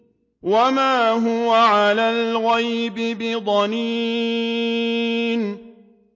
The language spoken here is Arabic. وَمَا هُوَ عَلَى الْغَيْبِ بِضَنِينٍ